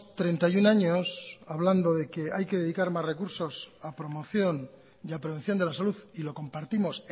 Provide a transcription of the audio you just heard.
treinta y uno años hablando de que hay que dedicar más recursos a promoción y a prevención de la salud y lo compartimos